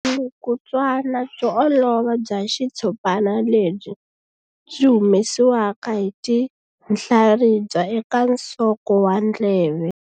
Vulukulutswana byo olova bya xitshopana lebyi byi humesiwaka hi tinhlaribya eka nsoko wa ndleve.